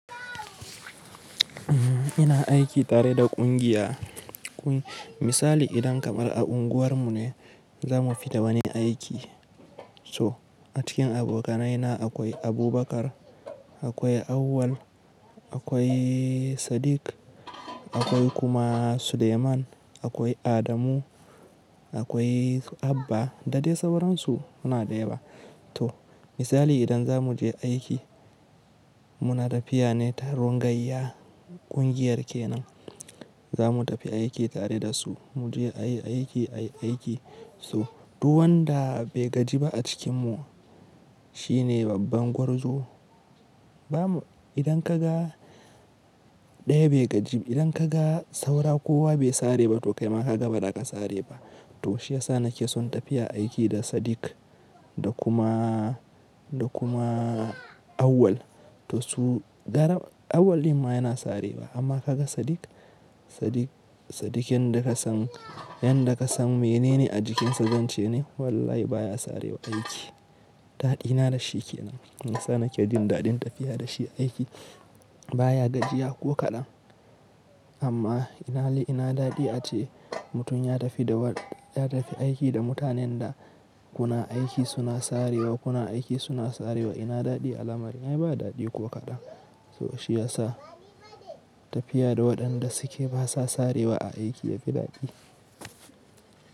Ina aiki tare da kungiya. Misali idan kamar a unguwarmu ne za mu fita wani aiki. So a cikin abokanaina akwai Abubakar, akwai Auwal, akwai Sadiq, akwai kuma Suleiman, akwai Adamu, akwai Abba, da dai sauransu muna da yawa. To misali idan za mu je aiki muna tafiya ne ta rungayya kungiyar kenan. Za mu tafi aiki tare da su, mu je a yi aiki, a yi aiki. So duk wanda bai gaji ba a cikin mu shine babban gwarzo. Ba mu, idan ka ga ɗaya bai gaji ba, idan ka ga saura kowa bai sare ba to kaima ka ga ba daka sare ba. To shi ya sa na ke son tafiya aiki da Sadiq da kuma, da kuma Auwal. To su gara Auwal in ma yana sarewa amma ka ga Sadiq, Sadiq, Sadiq in da ka san, in da ka san menene a jikinsa zance ne wallahi baya sarewa aiki. Ɗaɗina da shi ke nan. Shi yasa na ke jin daɗin tafiya da shi aiki baya gajiya ko kaɗan. Amma ina li ina daɗi ace mutum ya tafi da wa-- ya tafi aiki da mutanen da kuna aiki suna sarewa, kuna aiki suna sarewa ina daɗi a lamarin ai ba daɗi ko kaɗan. To shi ya sa tafiya da waɗanda suke basa sarewa a aiki yafi daɗi.